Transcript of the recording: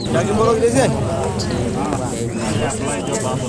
Eyiolounoto euroi enkulupuoni enetipat tenkiremore nalodukuya.